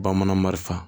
Bamanan marifa